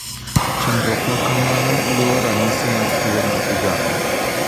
Chandruok makamano luwo ranyisi mar tuo ma igamo .